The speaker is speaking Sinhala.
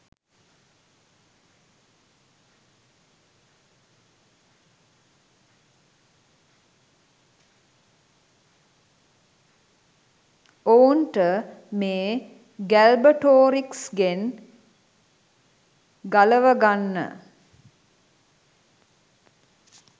ඔවුන්ට මේ ගැල්බටෝරික්ස්ගෙන් ගලවගන්න